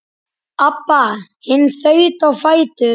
Abba hin þaut á fætur.